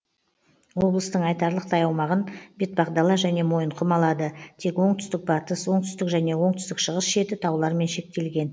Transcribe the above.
облыстың айтарлықтай аумағын бетпақдала және мойынқұм алады тек оңтүстік батыс оңтүстік және оңтүстік шығыс шеті таулармен шектелген